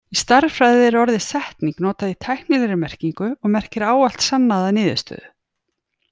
Í stærðfræði er orðið setning notað í tæknilegri merkingu og merkir ávallt sannaða niðurstöðu.